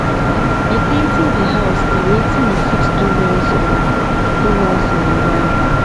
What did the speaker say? repainting di house na wetin we fit do once on do once on a while